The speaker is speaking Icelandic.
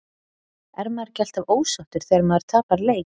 Er maður ekki alltaf ósáttur þegar maður tapar leik?